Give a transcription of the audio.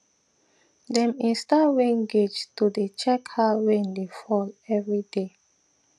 dem install rain gauge to dey check how rain dey fall every day